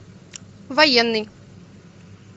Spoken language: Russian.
военный